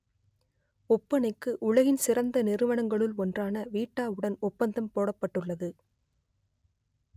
ஒப்பனைக்கு உலகின் சிறந்த நிறுவனங்களுள் ஒன்றான வீட்டாவுடன் ஒப்பந்தம் போடப்பட்டுள்ளது